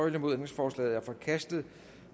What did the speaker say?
ændringsforslaget er forkastet